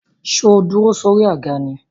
Sọ dúró sórí àga ni?